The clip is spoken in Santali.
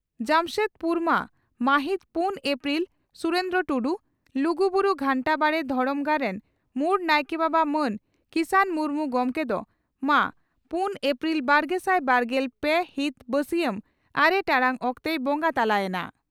ᱡᱟᱢᱥᱮᱫᱽᱯᱩᱨᱢᱟᱹ ᱢᱟᱹᱦᱤᱛ ᱯᱩᱱ ᱟᱯᱨᱤᱞ (ᱥᱩᱨᱮᱱᱫᱨᱚ ᱴᱩᱰᱩ) ᱺ ᱞᱩᱜᱩᱵᱩᱨᱩ ᱜᱷᱟᱱᱴᱟᱵᱟᱲᱤ ᱫᱷᱚᱨᱚᱢ ᱜᱟᱲ ᱨᱮᱱ ᱢᱩᱲ ᱱᱟᱭᱠᱮ ᱵᱟᱵᱟ ᱢᱟᱱ ᱠᱤᱥᱟᱱ ᱢᱩᱨᱢᱩ ᱜᱚᱢᱠᱮ ᱫᱚ ᱢᱟᱹ ᱯᱩᱱ ᱟᱯᱨᱤᱞ ᱵᱟᱨᱜᱮᱥᱟᱭ ᱵᱟᱨᱜᱮᱞ ᱯᱮ ᱦᱤᱛ ᱵᱟᱹᱥᱤᱭᱟᱢ ᱟᱨᱮ ᱴᱟᱲᱟᱝ ᱚᱠᱛᱮᱭ ᱵᱚᱸᱜᱟ ᱛᱟᱞᱟ ᱮᱱᱟ ᱾